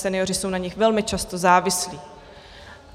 Senioři jsou na nich velmi často závislí.